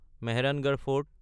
Mehrangarh fort